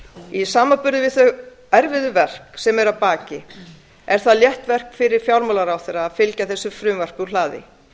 í samanburði við þau erfiðu verk sem eru að baki eru er það létt verk fyrir fjármálaráðherra að fylgja þessu frumvarpi úr hlaði